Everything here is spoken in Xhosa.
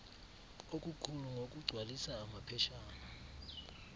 okukhulu ngokugcwalisa amaphetshana